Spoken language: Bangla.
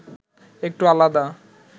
একটু আলাদা